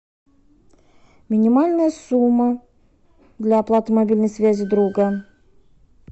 минимальная сумма для оплаты мобильной связи друга